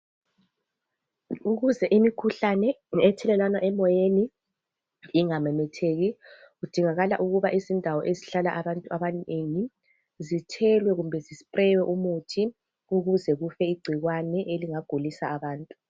ukuze imikhuhlane ethelelwana emoyeni ingamemetheki kudingakala ukuthi izindawo ezihlala abantu abanengi zithelwe kumbe zi sipreywe umuthi ukuze kufe icikwane eselinga gulisa abantu